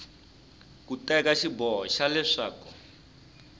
ku teka xiboho xa leswaku